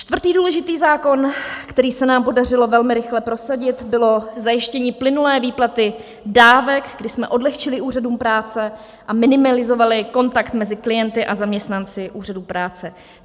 Čtvrtý důležitý zákon, který se nám podařilo velmi rychle prosadit, bylo zajištění plynulé výplaty dávek, kdy jsme odlehčili úřadům práce a minimalizovali kontakt mezi klienty a zaměstnanci úřadů práce.